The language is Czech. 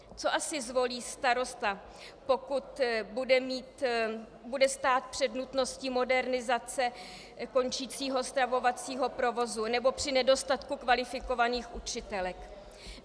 Co asi zvolí starosta, pokud bude stát před nutností modernizace končícího stravovacího provozu nebo při nedostatku kvalifikovaných učitelek?